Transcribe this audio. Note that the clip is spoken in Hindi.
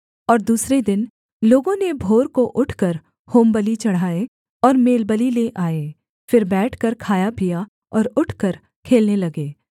और दूसरे दिन लोगों ने भोर को उठकर होमबलि चढ़ाए और मेलबलि ले आए फिर बैठकर खाया पिया और उठकर खेलने लगे